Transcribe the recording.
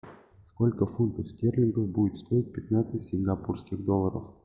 сколько фунтов стерлингов будет стоить пятнадцать сингапурских долларов